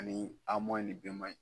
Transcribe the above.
Ani an man ɲi.